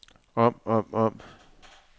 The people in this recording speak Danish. om om om